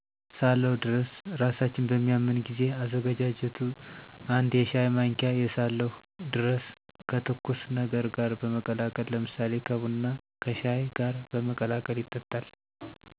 ሳለው ድርስ' እራሳችን በሚያመን ጊዜ. አዛገጃጀቱ አንድ የሻይ ማንኪያ የሳለሁ ድርሰ ከትኩስ ነገር ጋር በመቀላቀል ለምሳሌ ከቡና፣ ከሻይ ጋር በመቀላቀል ይጠጣል።